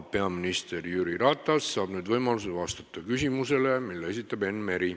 Peaminister Jüri Ratas saab nüüd võimaluse vastata küsimusele, mille esitab Enn Meri.